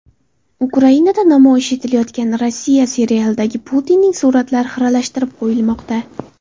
Ukrainada namoyish etilayotgan Rossiya serialidagi Putinning suratlari xiralashtirib qo‘yilmoqda.